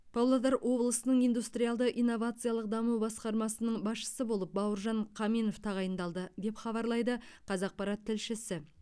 павлодар облысының индустриалды инновациялық даму басқармасының басшысы болып бауыржан қаменов тағайындалды деп хабарлайды қазақпарат тілшісі